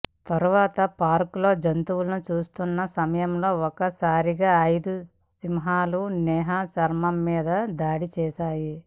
తరువాత పార్క్ లో జంతువులను చూస్తున్న సమయంలో ఒక్క సారిగా ఐదు సింహాలు నేహా శర్మ మీద దాడి చేశాయి